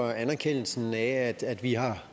for anerkendelsen af at vi har